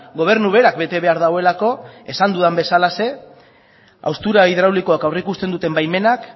gobernu berak bete behar duelako esan dudan bezalaxe haustura hidraulikoa aurreikusten duten baimenak